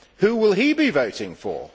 Who will he be voting for?